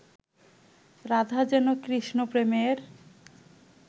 রাধা যেন কৃষ্ণ-প্রেমের